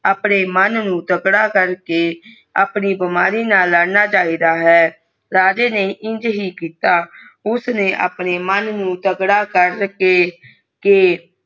ਆਪਣੇ ਮਾਨ ਨੂੰ ਤਗਾਦਾ ਕਰ ਕੇ ਆਪਣਾ ਬਾਮਾਰੀ ਨਾ ਲੜਨਾ ਚਾਹੀਦਾ ਹੈ ਰਾਜਾ ਨੇ ਇਜ ਹੀ ਕਿਤਾ ਉਸਨੇ ਆਪਣੇ ਮਨ ਨੂੰ ਤਗਾਦਾ ਕਰਕੇ ਕਾ